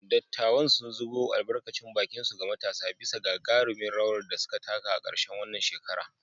Dattawan sun zubo albarkacin bakinsu ga matasa bisa gagarumin rawar da suka taka a karshen wannan shekara.